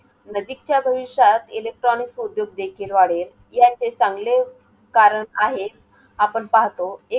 नजीकच्या भविष्यात electronics उद्योग देखील वाढेल, याचे चांगले कारण आहे. आपण पाहतो.